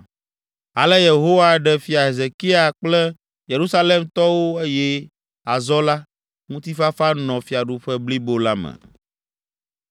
Ale Yehowa ɖe Fia Hezekia kple Yerusalemtɔwo eye azɔ la, ŋutifafa nɔ fiaɖuƒe blibo la me.